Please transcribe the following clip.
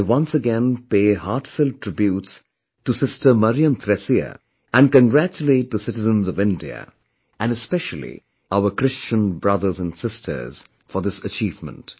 I once again pay heartfelt tributes to Sister MariamThresia and congratulate the citizens of India, and especially our Christian brothers and sisters, for this achievement